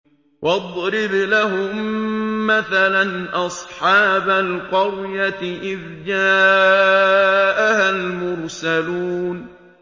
وَاضْرِبْ لَهُم مَّثَلًا أَصْحَابَ الْقَرْيَةِ إِذْ جَاءَهَا الْمُرْسَلُونَ